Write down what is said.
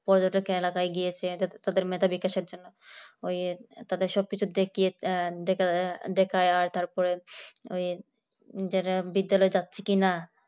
পর্যটক এলাকায় গেছে যাতে তাদের মেধাবী কাজের জন্য ওই তাদের সবকিছু দেখিয়ে দেখায় আর তারপরে ওই তারা বিদ্যালয়ে যাচ্ছে কিনা